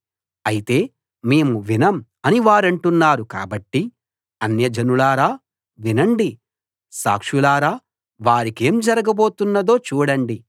అయితే మేము వినం అని వారంటున్నారు కాబట్టి అన్యజనులారా వినండి సాక్షులారా వారికేం జరగబోతున్నదో చూడండి